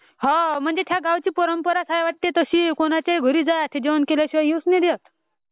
हो..त्या गावाची परंपराचं हाय्ये वाटयं. तशी......कोणाचेही घरी जा ते जोवणं केल्याशिवायं येऊचं नाही देत..